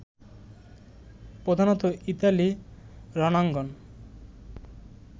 প্রধানত ইতালি রনাঙ্গন